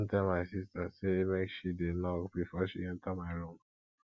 i don tell my sista sey make she dey knock before she enta my room